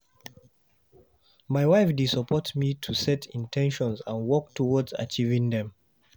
My wife dey support me to set in ten tions and work towards achieving dem.